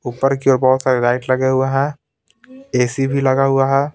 ऊपर की ओर बहुत सारे लाइट लगे हुए हैं ए_सी भी लगा हुआ है ।